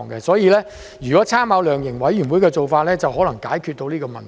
所以，如果參考量刑委員會的做法，或許可以解決到這個問題。